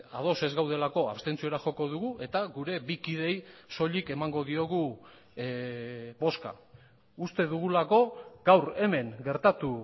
ados ez gaudelako abstentziora joko dugu eta gure bi kideei soilik emango diogu bozka uste dugulako gaur hemen gertatu